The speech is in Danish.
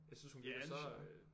Ja det synes jeg